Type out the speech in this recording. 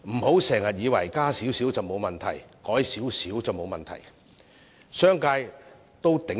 不要以為把最低工資提高少許沒有問題，商界可以承擔。